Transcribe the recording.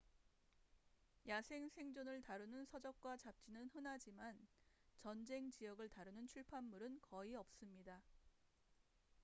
야생 생존을 다루는 서적과 잡지는 흔하지만 전쟁 지역을 다루는 출판물은 거의 없습니다